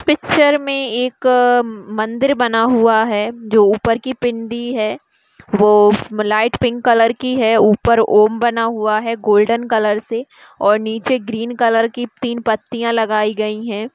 Picture मे एक मंदिर बना हुआ है जो ऊपर की पिंडी है वो लाइट पिंक कलर की है ऊपर ओम बना हुआ है गोल्डन कलर से और नीचे ग्रीन कलर की तीन पत्तियां लगाई गई है।